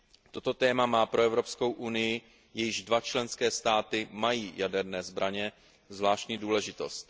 Toto téma má pro Evropskou unii, jejíž dva členské státy mají jaderné zbraně, zvláštní důležitost.